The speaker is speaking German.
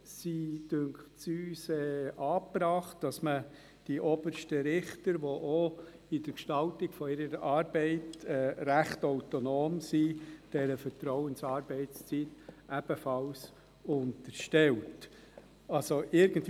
Wir sind der Meinung, die obersten Richter, die in der Gestaltung ihrer Arbeit recht autonom sind, seien dieser Vertrauensarbeitszeit ebenfalls zu unterstellen.